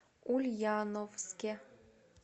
ульяновске